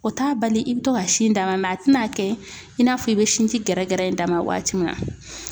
O t'a bali i be to ka sin d'a ma. a te na kɛ i n'a fɔ i be sinji gɛrɛgɛrɛ in d'a ma waati mun na.